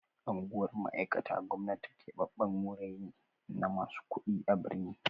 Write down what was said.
Anguwar mai'aikata gwamnati keɓaɓɓen wurai ne na masu kuɗi a birni.